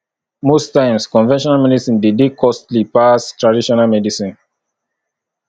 most times conventional medicine de dey costly pass traditional medicine